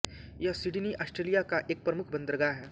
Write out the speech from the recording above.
यह Sydney Australia का एक प्रमुख बंदरगाह है